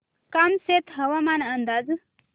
कामशेत हवामान अंदाज